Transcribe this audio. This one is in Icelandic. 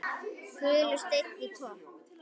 Gulur steinn í kopp.